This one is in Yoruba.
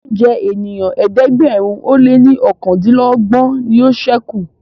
oúnjẹ ènìyàn ẹ̀ẹ́dẹ̀gbẹ̀rin o lẹ ní okàndinlogbon ní yóò sẹku